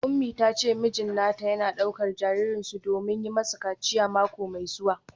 Umi ta ce mijin nata yana daukar jaririnsu domin yi masa kaciya mako mai zuwa.